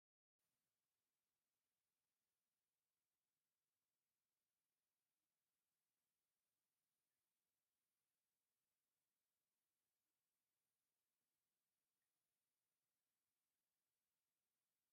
ቀጠልያ ቆጽሊ ዘለዎም ተኽልታት ብብዝሒ ፋሕ ኢሎም ይርከቡ። ኣብ መንጎኦም ጻዕዳ ዕምባባታት ይዕምብቡ። ተፈጥሮኣዊ ህድኣትን ሓድሽ ዕብየትን ኮይኑ ዝስምዓካ ጽባቐ ምንቅስቓስ ኣሎ።